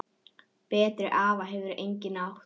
Betri afa hefur enginn átt.